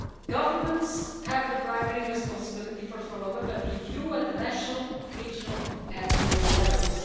Governments have the primary responsibility for follow-up and review at national, regional and global levels.